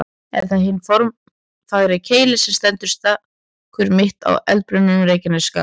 Er það hinn formfagri Keilir sem stendur stakur, mitt á eldbrunnum Reykjanesskaganum.